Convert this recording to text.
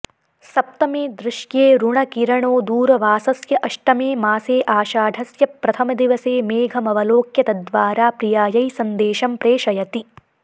सप्तमे दृश्येऽरुणकिरणो दूरवासस्य अष्टमे मासे आषाढस्य प्रथमदिवसे मेघमवलोक्य तद्वारा प्रियायै सन्देशं प्रेषयति